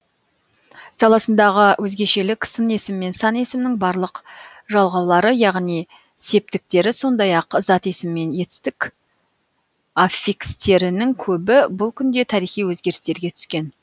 саласындағы өзгешелік сын есім мен сан есімнің барлық жалғаулары яғни септіктері сондай ақ зат есім мен етістік аффикстерінің көбі бұл күнде тарихи өзгерістерге түскен